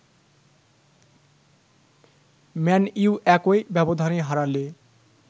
man U একই ব্যবধানে হারালে